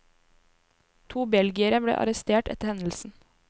To belgiere ble arrestert etter hendelsen.